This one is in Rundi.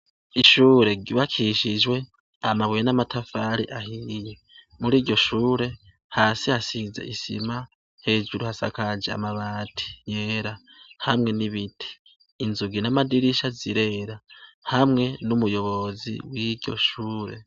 Ishure ryubakishijwe amabuye n'amatafari ahiye; muri iryo shure hasi hasize isima, hejuru hasakaje amabati yera hamwe n'ibiti; inzugi n'amadirisha zirera; Hamwe n'umuyobozi w'iryo shure.